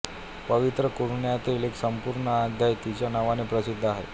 पवित्र कुराणातील एक संपूर्ण अध्याय तिच्या नावाने प्रसिद्ध आहे